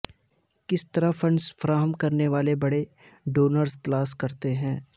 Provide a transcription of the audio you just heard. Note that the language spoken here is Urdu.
کس طرح فنڈز فراہم کرنے والے بڑے ڈونرز تلاش کرتے ہیں